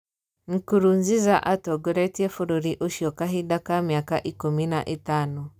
Nkurunziza atongoretie bũrũri ucio kahinda ka miaka ikũmi na ĩtano.